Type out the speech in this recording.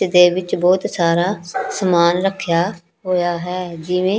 ਇਹਦੇ ਵਿੱਚ ਬਹੁਤ ਸਾਰਾ ਸਮਾਨ ਰੱਖਿਆ ਹੋਇਆ ਹੈ ਜਿਵੇਂ--